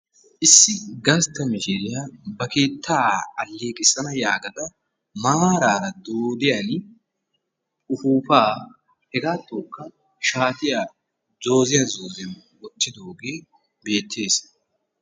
Issi gastta mishshiriya ba keettaa aleeqqissana yaagada maaraara dooddiyan upuuppaa hegaattokka shaatiya zoozziyan zooziyan woottiddogee beettees.